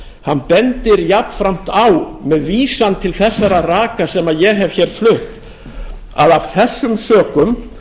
prófessor bendir jafnframt á með vísan til þessara raka sem ég hef hér flutt að af þessum sökum